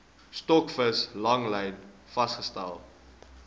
stokvis langlyn vangste